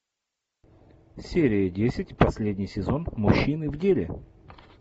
серия десять последний сезон мужчины в деле